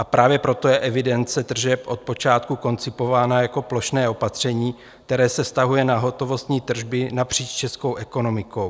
A právě proto je evidence tržeb od počátku koncipována jako plošné opatření, které se vztahuje na hotovostní tržby napříč českou ekonomikou.